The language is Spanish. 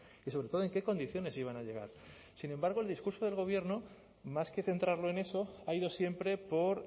y sobre todo en qué condiciones iban a llegar sin embargo el discurso del gobierno más que centrarlo en eso ha ido siempre por